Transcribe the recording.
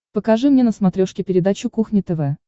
покажи мне на смотрешке передачу кухня тв